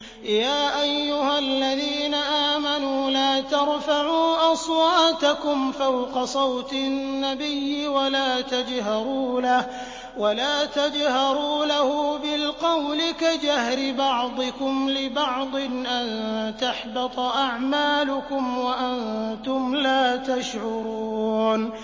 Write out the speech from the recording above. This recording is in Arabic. يَا أَيُّهَا الَّذِينَ آمَنُوا لَا تَرْفَعُوا أَصْوَاتَكُمْ فَوْقَ صَوْتِ النَّبِيِّ وَلَا تَجْهَرُوا لَهُ بِالْقَوْلِ كَجَهْرِ بَعْضِكُمْ لِبَعْضٍ أَن تَحْبَطَ أَعْمَالُكُمْ وَأَنتُمْ لَا تَشْعُرُونَ